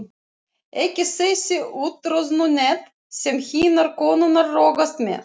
Ekki þessi úttroðnu net sem hinar konurnar rogast með.